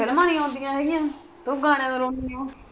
ਫ਼ਿਲਮਾਂ ਨਹੀਂ ਆਉਂਦੀਆਂ ਰਹੀਆਂ ਤੂੰ ਗਾਣਿਆਂ ਨੂੰ ਰੋਂਦੀ ਆਂ।